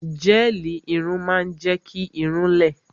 Gẹ́ẹ̀lì irun máa ń jẹ́ kí irun-ún lẹ